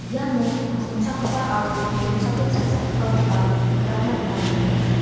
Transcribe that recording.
iano asongchakgipa aro donchake cha·chakgipakoba nikatna gita man·enga.